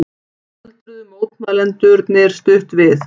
Stöldruðu mótmælendurnir stutt við